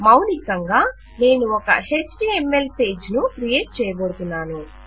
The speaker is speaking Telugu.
మౌలికంగా నేను ఒక ఎచ్టీఎంఎల్ పేజ్ ను క్రియేట్ చేయబోతున్నాను